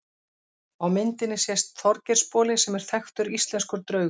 Á myndinni sést Þorgeirsboli sem er þekktur íslenskur draugur.